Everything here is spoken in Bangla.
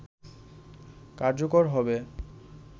কার্যকর হবে